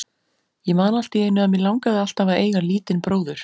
Ég man alltíeinu að mig langaði alltaf að eiga lítinn bróður.